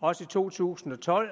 også i to tusind og tolv